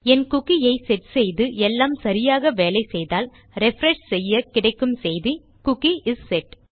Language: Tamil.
என் குக்கி ஐ செட் செய்து எல்லாம் சரியாக வேலை செய்தால் ரிஃப்ரெஷ் செய்ய கிடைக்கும் செய்தி குக்கி இஸ் செட்